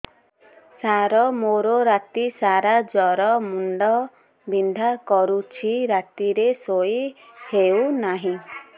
ସାର ମୋର ରାତି ସାରା ଜ୍ଵର ମୁଣ୍ଡ ବିନ୍ଧା କରୁଛି ରାତିରେ ଶୋଇ ହେଉ ନାହିଁ